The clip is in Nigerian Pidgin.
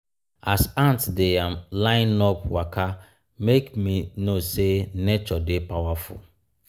as ants dey um line-up um waka make me know sey nature dey powerful.